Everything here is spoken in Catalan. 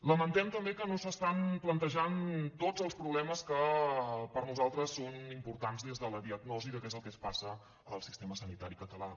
lamentem també que no s’estan plantejant tots els problemes que per a nosaltres són importants des de la diagnosi de què és el que passa al sistema sanitari català